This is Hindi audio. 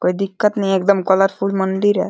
कोई दिक्कत नहीं है एकदम कलरफुल मंदिर है।